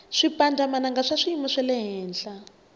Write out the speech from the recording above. swipandza mananga swa swiyimu xalehenhla